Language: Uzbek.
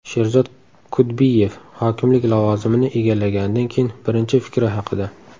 Sherzod Kudbiyev hokimlik lavozimini egallaganidan keyin birinchi fikri haqida.